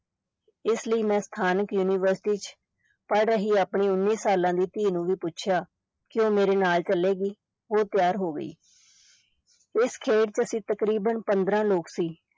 ਇਸ ਲਈ ਮੈਂ ਸਥਾਨਕ university ਚ ਪੜ੍ਹ ਰਹੀ ਆਪਣੀ ਉੱਨੀ ਸਾਲਾਂ ਦੀ ਧੀ ਨੂੰ ਵੀ ਪੁੱਛਿਆ ਕਿ ਉਹ ਮੇਰੇ ਨਾਲ ਚੱਲੇਗੀ, ਉਹ ਤਿਆਰ ਹੋ ਗਈ ਇਸ ਖੇਡ ਚ ਅਸੀਂ ਤਕਰੀਬਨ ਪੰਦਰਾਂ ਲੋਕ ਸੀ